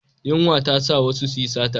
Yunwa ta sa wasu su yi sata.